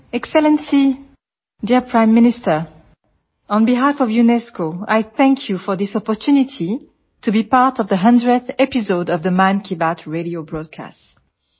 નમસ્તે excellency dear prime minister on બેહલ્ફ of UNESCO I thank you for this opportunity to be part of the 100th episode of the Mann Ki Baat radio broadcast